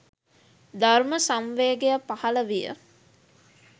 ධර්ම සංවේගය පහළ විය.